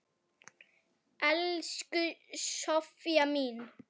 Elsku Soffía mín.